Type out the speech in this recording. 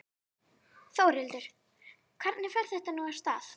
Þórhildur, hvernig fer þetta nú af stað?